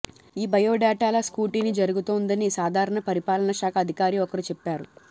ఈ బయోడాటాల స్క్రూటీని జరుగుతోందని సాధారణ పరిపాలనా శాఖ అధికారి ఒకరు చెప్పారు